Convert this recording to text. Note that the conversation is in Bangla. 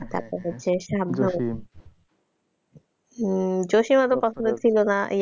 হম জশিম ওতো পছন্দ ছিল না এই,